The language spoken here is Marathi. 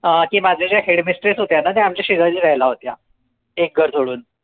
अं की, माझ्या ज्या headmistress होत्या ना त्या आमच्या शेजारी राहायला होत्या एक घर सोडून